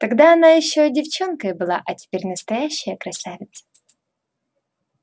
тогда она ещё девчонкой была а теперь настоящая красавица